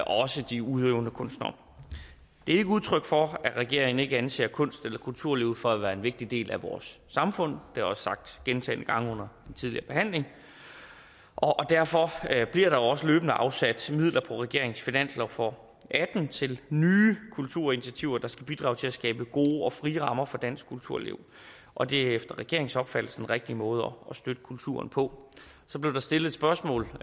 også de udøvende kunstnere det er ikke udtryk for at regeringen ikke anser kunst eller kulturlivet for at være en vigtig del af vores samfund det jeg også sagt gentagne gange under den tidligere behandling og derfor bliver der også løbende afsat midler på regeringens finanslov for atten til nye kulturinitiativer der skal bidrage til at skabe gode og frie rammer for dansk kulturliv og det er efter regeringens opfattelse den rigtige måde at støtte kulturen på så blev der stillet et spørgsmål